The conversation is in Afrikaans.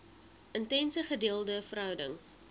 intense gedeelde verhouding